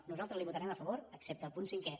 nosaltres la hi vota·rem a favor excepte al punt cinquè